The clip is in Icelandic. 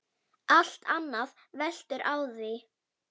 Allt annað veltur á því.